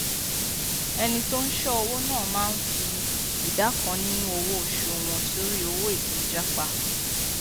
ẹni tó n ṣọ owó ná máa n fi ìdá kan nínú owó oṣù wọn sọrí owó ètò jápá